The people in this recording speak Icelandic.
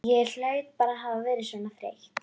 Ég hlaut bara að hafa verið svona þreytt.